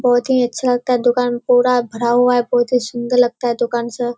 बहुत ही अच्छा लगता है दुकान पूरा भरा हुआ है बहुत हीं सुंदर लगता है दुकान सब।